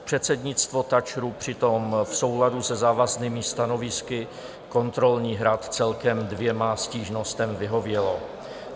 Předsednictvo TAČRu přitom v souladu se závaznými stanovisky kontrolních rad celkem dvěma stížnostem vyhovělo.